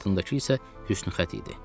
Onun altındakı isə hüsnüxətt.